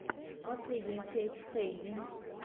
последняя часть хэйви